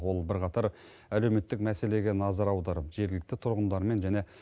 ол бірқатар әлеуметтік мәселеге назар аударып жергілікті тұрғындармен және